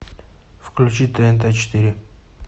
включи тнт четыре